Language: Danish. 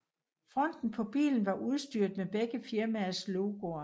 Fronten på bilen var udstyret med begge firmaers logoer